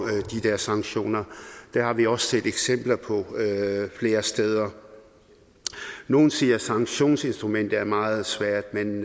de der sanktioner det har vi også set eksempler på flere steder nogle siger at sanktionsinstrumentet er meget svært men